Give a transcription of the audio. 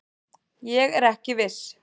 Ég er ekki viss.